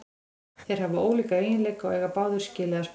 Þeir hafa ólíka eiginleika og eiga báðir skilið að spila.